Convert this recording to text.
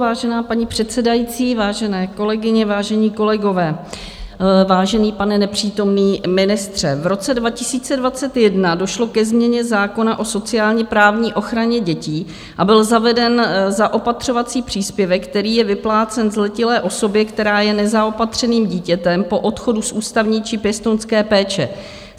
Vážená paní předsedající, vážené kolegyně, vážení kolegové, vážený pane nepřítomný ministře, v roce 2021 došlo ke změně zákona o sociálně-právní ochraně dětí a byl zaveden zaopatřovací příspěvek, který je vyplácen zletilé osobě, která je nezaopatřeným dítětem po odchodu z ústavní či pěstounské péče.